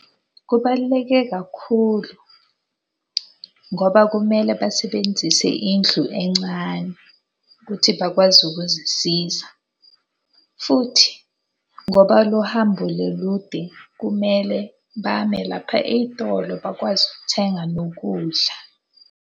Kubaluleke kakhulu ngoba kumele basebenzise indlu encane ukuthi bakwazi ukuzisiza. Futhi ngoba lo hambo le lude kumele bame lapha ey'tolo bakwazi ukuthenga nokudla.